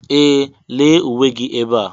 Ee! Lee uwe gị ebe a.